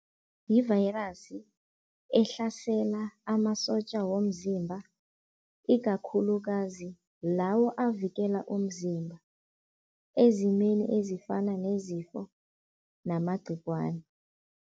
Yi-virus ehlasela amasotja womzimba, ikakhulukazi lawa avikela umzimba ezimeni ezifana nezifo namagcikwane.